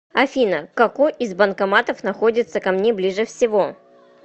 афина какой из банкоматов находится ко мне ближе всего